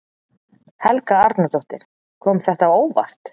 Helga Arnardóttir: Kom þetta á óvart?